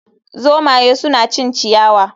Zomaye suna cin ciyawa